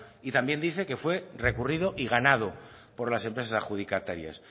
y también dice que fue recurrido y ganado por las empresas adjudicatarias